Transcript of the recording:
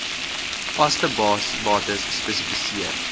vaste bates spesifiseer